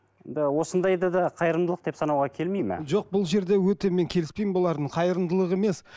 осындайды да қайырымдылық деп санауға келмейді ме жоқ бұл жерде өте мен келіспеймін бұлардың қайырымдылығы емес